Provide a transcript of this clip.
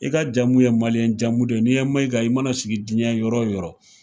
I ka jamu ye maliyɛn jamu don ,n'i ye mayiga ye i mana sigi jiɲɛ yɔrɔ wo yɔrɔ.